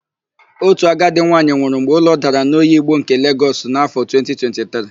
Otu agadi nwaanyị nwụrụ mgbe ụlọ dara n'Oyigbo nke Legọs n'áfọ̀ 2023.